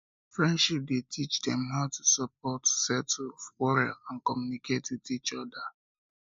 friendship de teach dem how to support settle quarell and communicate with each other each other